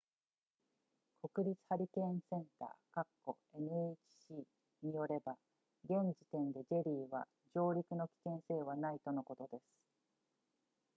国立ハリケーンセンター nhc によれば、現時点でジェリーは上陸の危険性はないとのことです